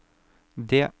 D